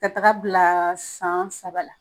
Ka taga bila san saba la